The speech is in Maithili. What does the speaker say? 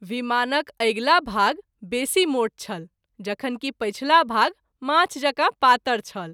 विमानक अगिला भाग बेसी मोट छल जखन कि पछिला भाग माछ जकाँ पातर छल।